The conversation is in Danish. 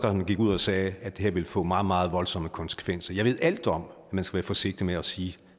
gik ud og sagde at det her ville få meget meget voldsomme konsekvenser jeg ved alt om at man skal være forsigtig med at sige